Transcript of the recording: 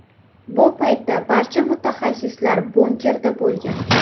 Bu paytda barcha mutaxassislar bunkerda bo‘lgan.